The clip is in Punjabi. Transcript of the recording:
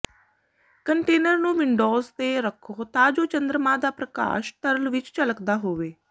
ਕੰਟੇਨਰ ਨੂੰ ਵਿੰਡੋਜ਼ ਤੇ ਰੱਖੋ ਤਾਂ ਜੋ ਚੰਦਰਮਾ ਦਾ ਪ੍ਰਕਾਸ਼ ਤਰਲ ਵਿੱਚ ਝਲਕਦਾ ਹੋਵੇ